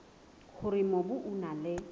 hore mobu o na le